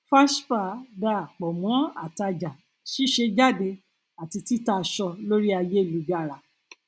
fashpa dá pọ mọ àtajà ṣíṣe jáde àti tita aṣọ lórí ayélujára